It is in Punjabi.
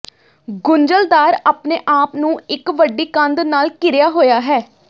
ਗੁੰਝਲਦਾਰ ਆਪਣੇ ਆਪ ਨੂੰ ਇਕ ਵੱਡੀ ਕੰਧ ਨਾਲ ਘਿਰਿਆ ਹੋਇਆ ਹੈ